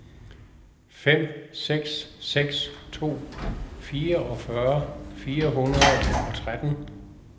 fem seks seks to fireogfyrre fire hundrede og tretten